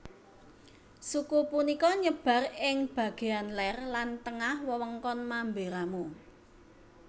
Suku punika nyebar ing bageyan ler lan tengah wewengkon Mamberamo